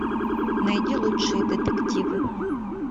найди лучшие детективы